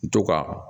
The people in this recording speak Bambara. To ka